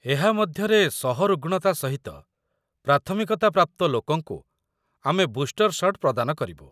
ଏହା ମଧ୍ୟରେ ସହରୁଗ୍‌ଣ ତା ସହିତ ପ୍ରାଥମିକତା ପ୍ରାପ୍ତ ଲୋକଙ୍କୁ ଆମେ ବୁଷ୍ଟର୍ ସଟ୍ ପ୍ରଦାନ କରିବୁ।